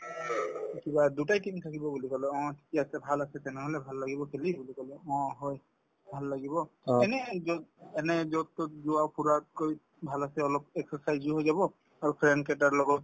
কিবা দুটাই team থাকিব বুলি কলে অ ঠিক আছে ভাল আছে তেনেহলে ভাল লাগিব খেলি এইবুলি কলো অ হয় ভাল লাগিব এনেই যত এনেই যত-তত যোৱা ফুৰাতকৈ ভাল আছে অলপ exercise ও হৈ যাব আৰু friend কেইটাৰ লগত